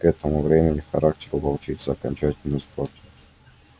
к этому времени характер у волчицы окончательно испортился